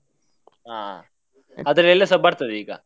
ಹಾ, ಅದ್ರಲ್ಲಿ ಎಲ್ಲಸಾ ಬರ್ತದೆ ಈಗ.